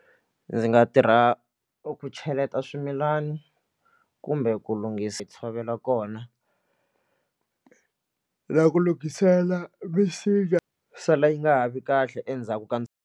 Ndzi nga tirha ku cheleta swimilana kumbe ku lunghisa tshovela kona na ku lunghisela misinya sala yi nga ha vi kahle endzhaku ka.